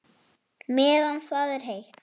Meðan það er heitt.